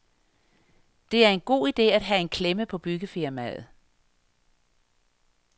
Det er en god idé at have en klemme på byggefirmaet.